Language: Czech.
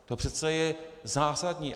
To přece je zásadní.